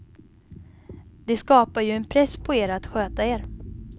Det skapar ju en press på er att sköta er.